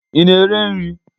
Ị na-ere nri?